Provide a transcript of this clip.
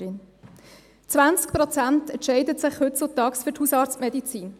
20 Prozent entscheiden sich heutzutage für die Hausarztmedizin.